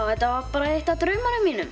þetta var bara eitt af draununum mínum